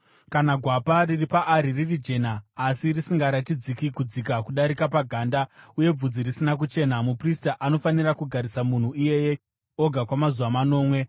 Kana gwapa riri paari riri jena asi risingaratidzi kudzika kudarika paganda uye bvudzi risina kuchena, muprista anofanira kugarisa munhu iyeye oga kwamazuva manomwe.